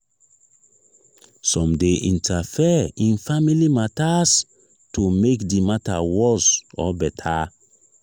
some de interfere in family matters to make di matter worst or better